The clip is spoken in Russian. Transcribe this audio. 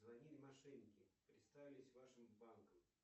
звонили мошенники представились вашим банком